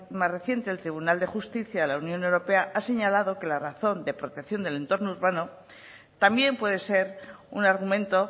más reciente el tribunal de justicia de la unión europea ha señalado que la razón de protección del entorno urbano también puede ser un argumento